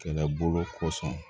Kɛlɛbolo kosɔn